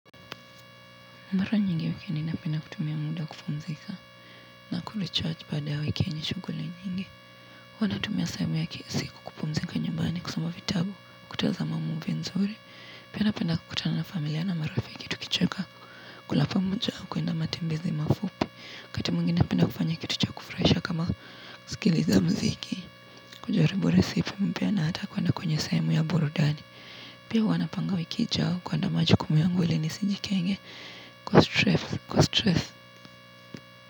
Mara nyingi wikini napenda kutumia muda kupumzika na kurichaji baada ya wiki yenye shughuli nyingi. Huwa natumia sehemu ya kila siku kupumzika nyumbani kusoma vitabu kutazama movie nzuri. Pia napenda kukutana na familia na marafiki tukicheka kula pamoja na kuenda matembezi mafupi. Wakati mwengine napenda kufanya kitu cha kufurahisha kama kusikiliza muziki. Kujaribu resipe mpya na hata kwenda kwenye sehemu ya burudani. Pia wanapanga wiki ijayo kuenda majukumu yangu ili nisijikinge. Kwa stress,